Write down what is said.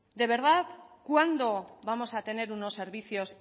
de verdad cuándo vamos a tener unos servicios